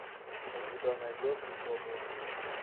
у тебя найдется свободные